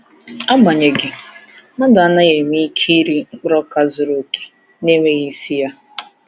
Agbanyeghị, mmadụ anaghị enwe ike iri mkpụrụ ọka zuru oke, na-enweghị esi ya.